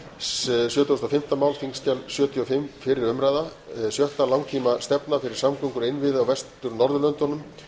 sjötugasta og fimmta mál þingskjal sjötugasta og fimmta fyrri umræða sjötta langtímastefna fyrir samgöngur og innviði á vestur norðurlöndum